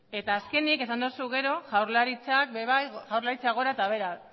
azkenik esan duzu gero jaurlaritza gora eta behera